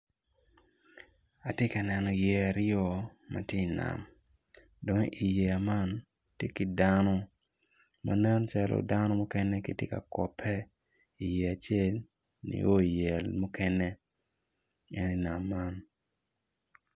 Atye ka neno yeya aryo ma ti nam dong i yeya man ti ki dano ma nen calo dano mukene giti ka kope i yeya acel nio i yeya mukene en i nam man